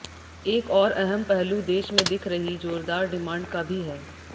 एक और अहम पहलू देश में दिख रही जोरदार डिमांड का भी है